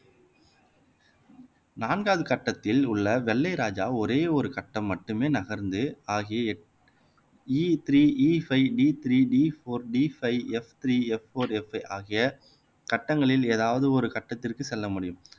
நான்காம் கட்டத்தில் உள்ள வெள்ளை ராஜா ஒரே ஒரு கட்டம் மட்டுமே நகர்ந்து ஆகிய எட் E three E five D three D four D five F three F four F ஆகிய கட்டங்களில் ஏதாவது ஒரு கட்டத்திற்கு செல்ல முடியும்